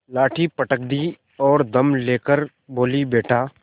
लाठी पटक दी और दम ले कर बोलीबेटा